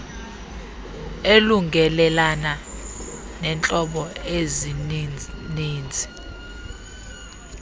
elungelelana neentlobo ezinininzi